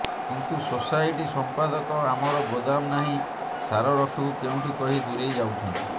କିନ୍ତୁ ସୋସାଇଟି ସମ୍ପାଦକ ଆମର ଗୋଦାମ ନାହିଁ ସାର ରଖିବୁ କେଉଁଠି କହି ଦୂରେଇ ଯାଉଛନ୍ତି